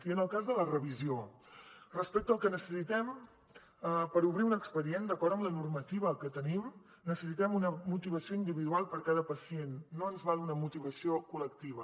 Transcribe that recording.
i en el cas de la revisió respecte al que necessitem per obrir un expedient d’acord amb la normativa que tenim necessitem una motivació individual per a cada pacient no val una motivació col·lectiva